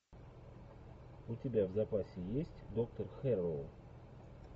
у тебя в запасе есть доктор хэрроу